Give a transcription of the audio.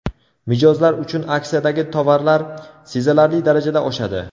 Mijozlar uchun aksiyadagi tovarlar sezilarli darajada oshadi.